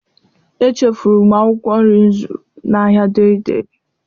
Echefuru m akwụkwọ nri m zụrụ n'ahịa Dei Dei.